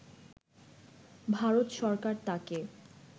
ভারত সরকার তাকে